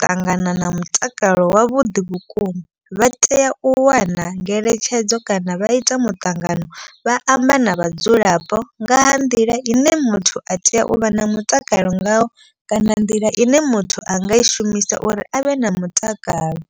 ṱangana na mutakalo wavhuḓi vhukuma. Vha tea u wana ngeletshedzo kana vha ita muṱangano vha amba na vhadzulapo nga nḓila ine muthu a tea u vha na mutakalo ngao. Kana nḓila ine muthu anga i shumisa uri avhe na mutakalo.